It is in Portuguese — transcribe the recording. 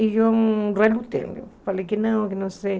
E eu relutei, falei que não, que não sei.